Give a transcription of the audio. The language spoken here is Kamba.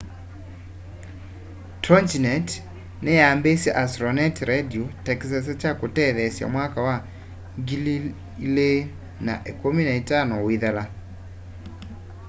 toginet ni yambiisye astronet radio ta kisese kya kutetheesya mwaka wa 2015 uithela